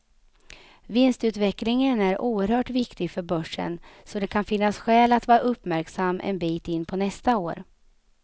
Vinstutvecklingen är oerhört viktig för börsen, så det kan finnas skäl att vara uppmärksam en bit in på nästa år.